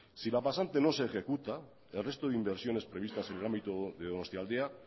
si la pasante no se ejecuta el resto de inversiones previstas en el ámbito de donostialdea